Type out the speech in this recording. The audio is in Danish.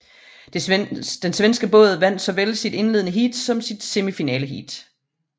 Den svenske båd vandt såvel sit indledende heat som sit semifinaleheat